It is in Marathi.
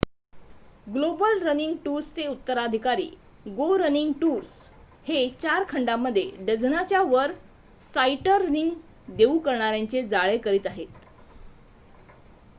ग्लोबल रनिंग टूर्स चे उत्तराधिकारी गो रनिंग टूर्स हे 4 खंडामध्ये डझनाच्या वर साईटरनिंग देऊ करणाऱ्यांचे जाळे करीत आहे